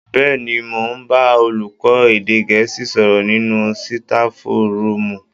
Bẹ́ẹ̀ni, mò ń bá olùkọ́ èdè Gẹ̀ẹ́sì sọ̀rọ̀ nínú sitafu rúùmù